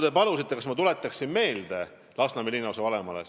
Te palusite, et ma tuletaksin Lasnamäe linnaosavanemale ühte asja meelde.